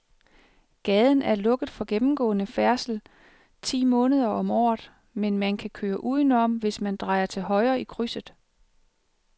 Gaden er lukket for gennemgående færdsel ti måneder om året, men man kan køre udenom, hvis man drejer til højre i krydset.